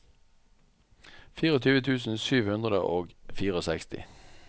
tjuefire tusen sju hundre og sekstifire